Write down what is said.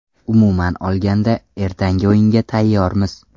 Umuman olganda, ertangi o‘yinga tayyormiz.